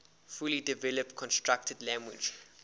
fully developed constructed language